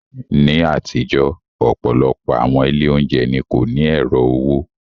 Ní àtijọ́, ọ̀pọ̀lọpọ̀ àwọn ilé oúnjẹ ni kò ní ẹ̀rọ owó.